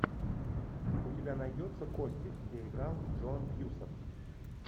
у тебя найдется кости где играл джон кьюсак